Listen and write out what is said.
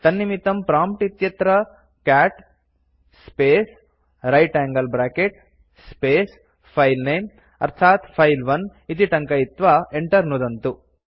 तन्निमित्तं प्रॉम्प्ट् इत्यत्र cat space right angle bracket space filename अर्थात् फिले 1 इति टङ्कयित्वा enter नुदन्तु